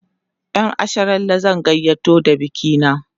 ƴan asharalle zan gayyato da bikina